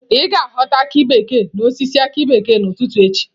Ị ga-aghọta aki bekee n'osisi aki bekee n'ụtụtụ echi